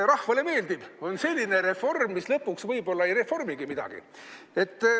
Rahvale meeldib, kui on selline reform, mis lõpuks võib-olla ei reformigi midagi.